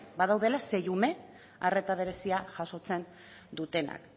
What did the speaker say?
badaudela sei ume arreta berezia jasotzen dutenak